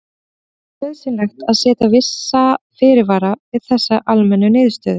Þó er nauðsynlegt að setja vissa fyrirvara við þessari almennu niðurstöðu.